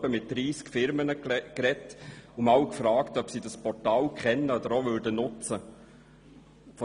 Ich sprach etwa mit 30 Firmen und fragte, ob sie das Portal kennen und nutzen würden.